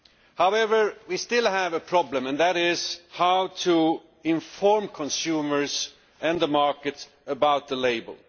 However, we still have a problem, namely how to inform consumers and the markets about the label.